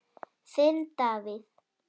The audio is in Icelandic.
Þinn Davíð.